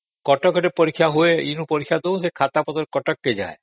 ଏଇଠି ପରୀକ୍ଷା ଦଉ ସେ ଖାତାପତ୍ର କଟକ ଯାଏ